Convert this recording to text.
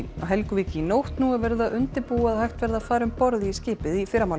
Helguvík í nótt nú er verið að undirbúa að hægt verði að fara um borð í skipið í fyrramálið